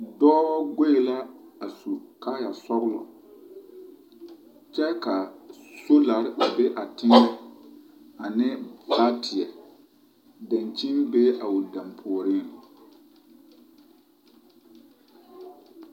Dɔɔ goe la a su kaaya sɔgelɔ kyɛ ka sogyare a be a teŋɛ ane baateɛ, dankyini bee a o puoriŋ.